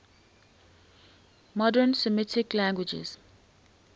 modern semitic languages